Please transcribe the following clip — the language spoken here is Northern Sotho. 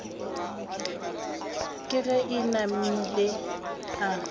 ke ge e namile a